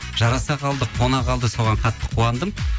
жараса қалды қуана қалды соған қатты қуандым